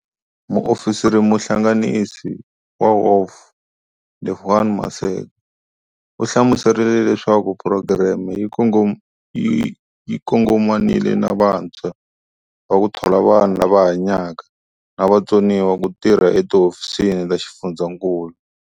Muofisirimuhlanganisi wa WOF Lebogang Maseko u hlamuserile leswaku phurogireme yi kongomanile na vantshwa na ku thola vanhu lava hanyaka na vutsoniwa ku tirha etihofisini ta xifundzankulu.